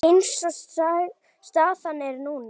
Eins og staðan er núna.